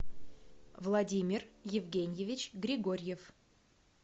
владимир евгеньевич григорьев